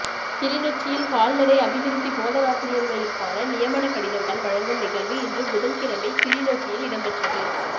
கிளிநொச்சியில் கால்நடை அபிவிருத்தி போதனாசிரியர்களிற்கான நியமனக்கடிதங்கள் வழங்கும் நிகழ்வு இன்று புதன் கிழமை கிளிநொச்சியில் இடம்பெற்றது